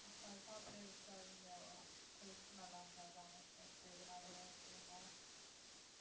அசால்ட்டா அப்படியே விட்டுறாதீங்க health நல்லா இருந்தாதான் next next எதுனாலும்